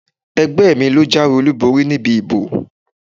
Ẹgbẹ́ mi ló jáwé olúborí níbi ìbò.